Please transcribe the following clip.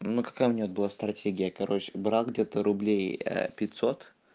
на какая у меня была стратегия короче брат где-то рублей пятьсот